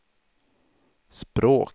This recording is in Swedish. språk